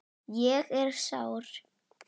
Ég er sár.